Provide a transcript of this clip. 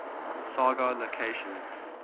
saga locations